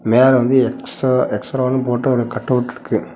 மேல வந்து எக்ஸா எக்ஸ்ரானு போட்ட ஒரு கட்டவுட் இருக்கு.